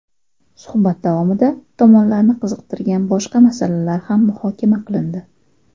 Suhbat davomida tomonlarni qiziqtirgan boshqa masalalar ham muhokama qilindi.